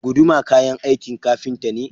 Guduma kayan aikin ƙafinta ne.